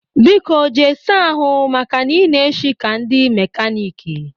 Biko jee saa ahụ maka na ị na-eshi ka ndị mekaniiki!